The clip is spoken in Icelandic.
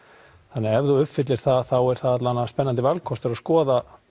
þannig að ef þú uppfyllir það er það spennandi valkostur að skoða